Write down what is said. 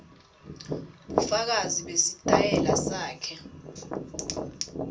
bufakazi besitayela sakhe